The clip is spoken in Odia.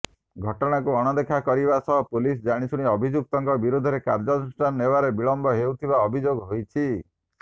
ଘଟଣାକୁ ଅଣଦେଖା କରିବା ସହ ପୁଲିସ୍ ଜାଣିଶୁଣି ଅଭିଯୁକ୍ତଙ୍କ ବିରୋଧରେ କାର୍ଯ୍ୟାନୁଷ୍ଠାନ ନେବାରେ ବିଳମ୍ବ ହେଉଥିବା ଅଭିଯୋଗ ହୋଇଛି